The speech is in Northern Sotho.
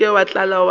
se ke wa tla wa